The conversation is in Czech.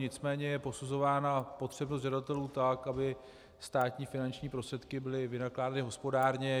Nicméně je posuzována potřebnost žadatelů tak, aby státní finanční prostředky byly vynakládány hospodárně.